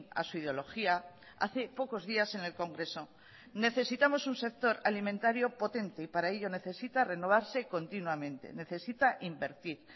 a su ideología hace pocos días en el congreso necesitamos un sector alimentario potente y para ello necesita renovarse continuamente necesita invertir